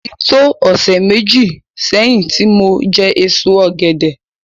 Ó ti tó ọ̀sẹ̀ méji sẹ́yìn tí mo jẹ èso ọ̀gẹ̀dẹ̀